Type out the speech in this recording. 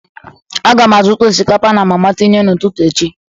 A ga m azụta osikapa na mama tinye n'ụtụtụ echi.